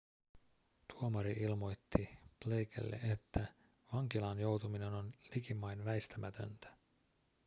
tuomari ilmoitti blakelle että vankilaan joutuminen oli likimain väistämätöntä